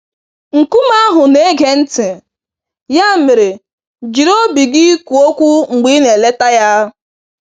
Nkume ahụ na-ege ntị - ya mere jiri obi gị kwuo okwu mgbe ị na-eleta ya.